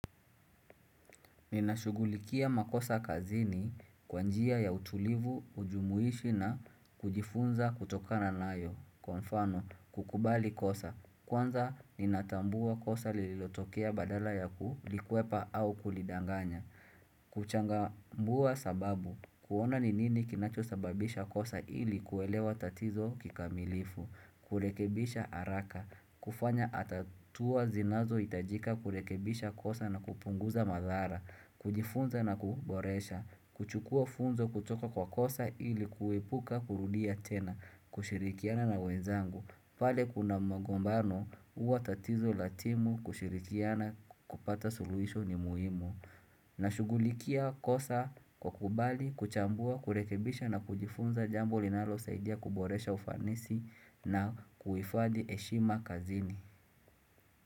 Ninashugulikia makosa kazini kwanjia ya utulivu, ujumuishi na kujifunza kutokana nayo. Konfano, kukubali kosa. Kwanza, ninatambua kosa lililotokea badala ya kulikwepa au kulidanganya. Kuchanga mbuwa sababu, kuona ni nini kinacho sababisha kosa ili kuelewa tatizo kikamilifu kurekebisha haraka, kufanya atatua zinazo itajika kurekebisha kosa na kupunguza madhara kujifunza na kuboresha, kuchukua funzo kutoka kwa kosa ili kuepuka kurudia tena kushirikiana na wenzangu, pale kuna magombano uwa tatizo latimu kushirikiana kupata suluhisho ni muhimu na shugulikia kosa kwa kubali, kuchambua, kurekibisha na kujifunza jambo linalo saidia kuboresha ufanisi na kuifadhi heshima kazini.